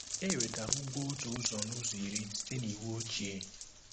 Ewetara ugwo otu ụzọ n'ụzọ iri site n'iwu ochie